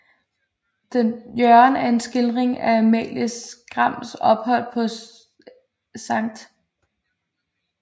Jørgen er en skildring af Amalie Skrams ophold på Skt